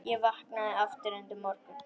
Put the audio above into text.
Ég vaknaði aftur undir morgun.